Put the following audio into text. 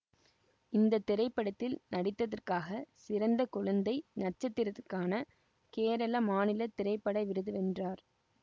இந்த திரைப்படத்தில் நடித்தற்காக சிறந்த குழந்தை நட்சத்திரத்திற்கான கேரள மாநில திரைப்பட விருது வென்றார்